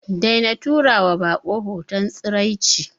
Daina tura wa bako hoton tsiraici.